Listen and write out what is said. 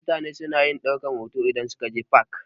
Mutane suna ɗaukar hoto idan suka je fak.